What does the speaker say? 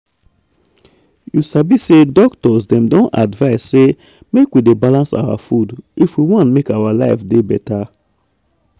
you sabi say doctors dem don advise say make we dey balance our food if we want make our life dey beta.